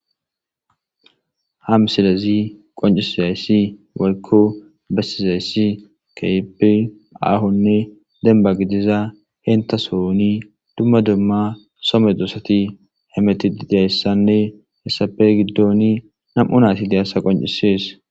Ha misilezi qonchisizasi woyiko besizaysi kehipe ahone demba gidiza henta sohoni dumma dumma so medosati hemetetidaysane heysappe gidoni nam'u nati de'aysa qonchises.